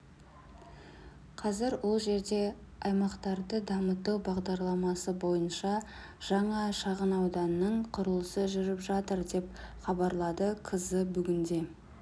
қазір ол жерде аймақтарды дамыту бағдарламасы бойынша жаңа шағынауданның құрылысы жүріп жатыр деп хабарлады кз бүгінде